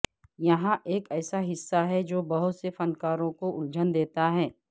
یہاں ایک ایسا حصہ ہے جو بہت سے فنکاروں کو الجھن دیتا ہے